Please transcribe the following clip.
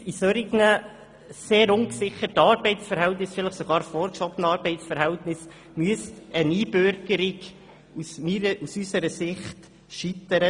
In solchen Fällen von sehr ungesicherten, vielleicht sogar vorgeschobenen Arbeitsverhältnissen müsste eine Einbürgerung aus unserer Sicht scheitern;